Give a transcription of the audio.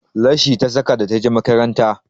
Leshi ta saka da ta je makaranta